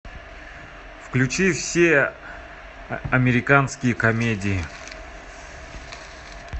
включи все американские комедии